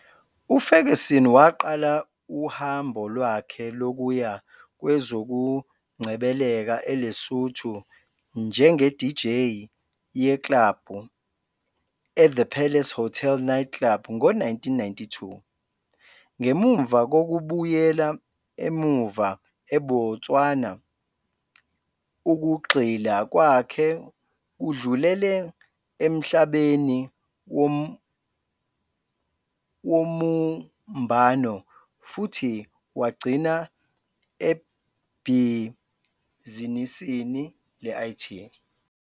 UFerguson waqala uhambo lwakhe lokuya kwezokungcebeleka eLesotho njengeDJ yeklabhu eThe Palace Hotel Night Club ngo-1992. Ngemuva kokubuyela emuva eBotswana ukugxila kwakhe kudlulele emhlabeni wobumbano futhi wagcina ebhizinisini le-IT.